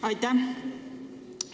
Aitäh!